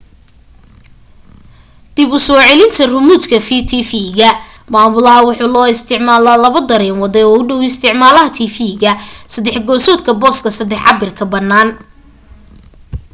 dib u soo celinta ramuudka tifiga maamulaha waxaa loo isticmala laba dareen wade oo u dhaw isticmalaha tifiga saddex gesoodka booska sadex cabirka banana